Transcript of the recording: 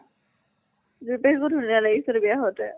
যুৰি পাহী কো ধুনীয়া লাগিছিল বিয়া হওঁতে।